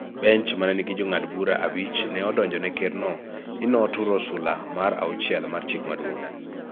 Bench ma ne nigi Jong'ad bura abich ne odonjone Kerno ni noturo sula mar auchiel mar Chik Maduong�,